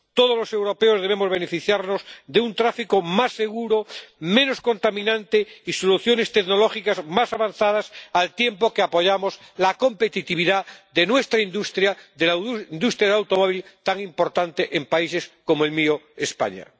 Todos los europeos debemos beneficiarnos de un tráfico más seguro, menos contaminante, y de soluciones tecnológicas más avanzadas, al tiempo que apoyamos la competitividad de nuestra industria, de la industria del automóvil, tan importante en países como el mío, España.